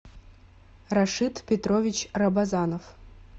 рашид петрович рабазанов